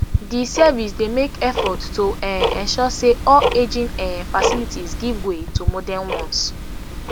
di service dey make effort to um ensure say all aging um facilities give way to modern ones